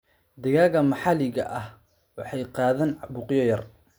Digaagga maxalliga ah waxay qaadaan caabuqyo yar.